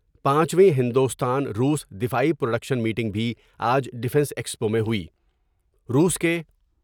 پانچویں ہندوستان روس دفاعی پروڈکشن میٹنگ بھی آج ڈفینس ایکسپو میں ہوئی روس کے۔